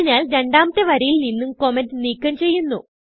അതിനാൽ രണ്ടാമത്തെ വരിയിൽ നിന്നും കമന്റ് നീക്കം ചെയ്യുന്നു